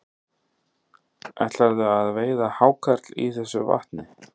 Sindri: Ætlarðu að veiða hákarl í þessu vatni?